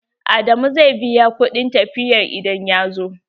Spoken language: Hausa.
Adamu zai biya kuɗin tafiya idan ya zo.